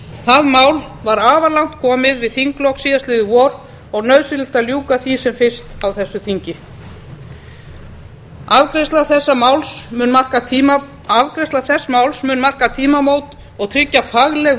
það mál var afar langt komið við þinglok í vor og nauðsynlegt að ljúka því sem fyrst á þessu þingi afgreiðsla þess máls mun marka tímamót og tryggja fagleg